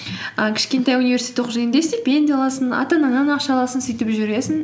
і кішкентай университетте оқып жүргенде стипендия аласың ата анаңнан ақша аласың сөйтіп жүресің